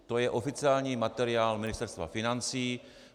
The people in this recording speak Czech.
To je oficiální materiál Ministerstva financí.